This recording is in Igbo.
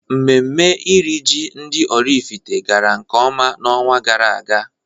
Mmemme iri ji ndị Oraifite gara nkeọma na-ọnwa gara aga.